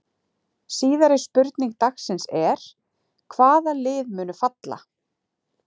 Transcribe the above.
Síðari spurning dagsins er: Hvaða lið munu falla?